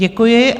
Děkuji.